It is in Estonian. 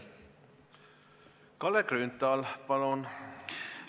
Kalle Grünthal, palun!